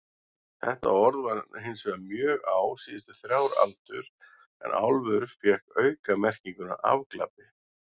Þetta orð vann hinsvegar mjög á síðustu þrjár aldur en álfur fékk aukamerkinguna afglapi.